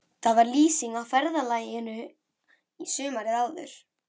Var það lýsing á ferðalaginu sumarið áður.